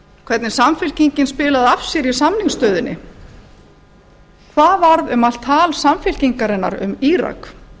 hvernig samfylkingin spilaði af sér í samningsstöðunni hvað varð um allt tal samfylkingarinnar um írak